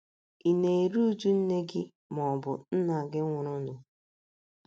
Ị̀ na - eru uju nne gị ma ọ bụ nna gị nwụrụnụ?